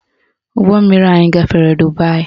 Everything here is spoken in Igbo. Ụgbọmmiri anyị gafere Dubaị